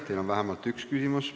Teile on vähemalt üks küsimus.